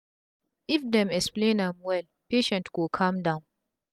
if dem explain am well patient go calm down